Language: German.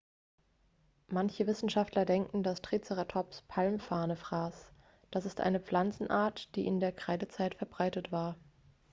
manche wissenschaftler denken dass triceratops palmfarne fraß das ist eine pflanzenart die in der kreidezeit verbreitet war